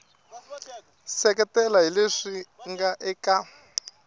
seketela hi leswi nga eka